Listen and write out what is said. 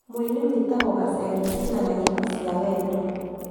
Mũini witagwo Gaceeri ainaga nyĩmbo cia wendo